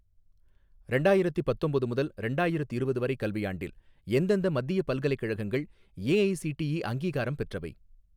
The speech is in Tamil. ரெண்டாயிரத்தி பத்தொம்போது முதல் ரெண்டாயிரத்திரவது வரை கல்வியாண்டில் எந்தெந்த மத்தியப் பல்கலைக்கழகங்கள் ஏஐஸிடிஇ அங்கீகாரம் பெற்றவை?